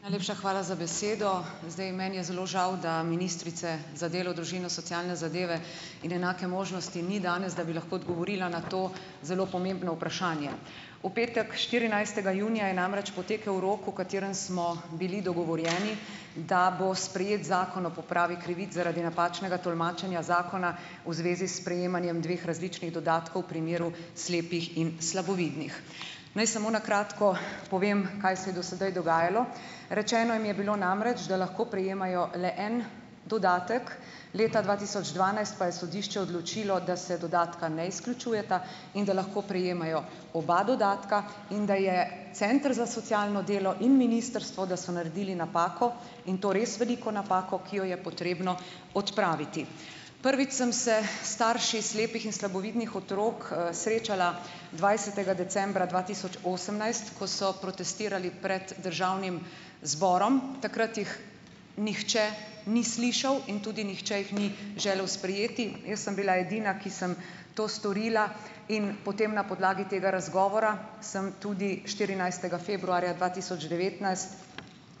Najlepša hvala za besedo. Zdaj, meni je zelo žal da ministrice za delo, družino, socialne zadeve in enake možnosti ni danes, da bi lahko odgovorila na to zelo pomembno vprašanje. V petek štirinajstega junija je namreč potekel rok, o katerem smo bili dogovorjeni, da bo sprejet Zakon o popravi krivic zaradi napačnega tolmačenja zakona v zvezi s sprejemanjem dveh različnih dodatkov v primeru slepih in slabovidnih. Naj samo na kratko povem, kaj se je do sedaj dogajalo. Rečeno mi je bilo namreč, da lahko prejemajo le en dodatek, leta dva tisoč dvanajst pa je sodišče odločilo, da se dodatka ne izključujeta in da lahko prejemajo oba dodatka in da je center za socialno delo in ministrstvo, da so naredili napako in to res veliko napako, ki jo je potrebno odpraviti. Prvič sem se s starši slepih in slabovidnih otrok, srečala dvajsetega decembra dva tisoč osemnajst, ko so protestirali pred državnim zborom. Takrat jih nihče ni slišal in tudi nihče jih ni želel sprejeti. Jaz sem bila edina, ki sem to storila, in potem na podlagi tega razgovora, sem tudi štirinajstega februarja dva tisoč